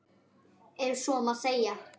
Ef svo má segja.